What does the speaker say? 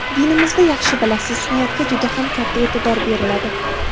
Dinimizda yaxshi bilasiz niyatga juda ham katta e’tibor beriladi.